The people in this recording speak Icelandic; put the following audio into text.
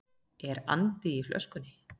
Er andi í flöskunni?